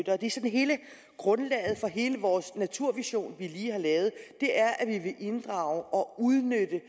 hele grundlaget for hele vores naturvision vi lige har lavet er at vi inddrage og udnytte